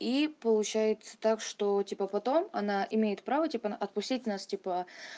и получается так что типа потом она имеет право типа отпустить нас типа